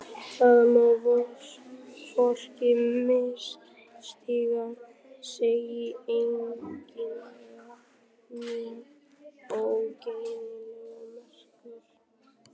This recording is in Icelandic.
Það má hvorki misstíga sig í eiginlegri né óeiginlegri merkingu.